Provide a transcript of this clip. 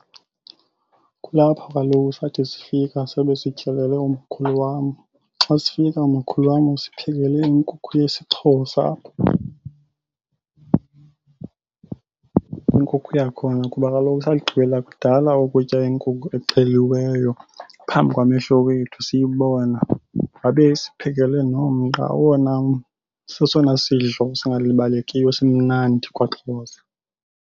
Kulapho kaloku sathi sifika sabe sityelele umakhulu wam. Xa sifika umakhulu wam usiphekele inkukhu yesiXhosa, inkukhu yakhona kuba kaloku sagqibela kudala ukutya iinkukhu exheliweyo phambi kwamehlo wethu siyibona. Wabe esiphekele nomqa owona sesona sidlo singalibalekiyo simnandi kwaXhosa.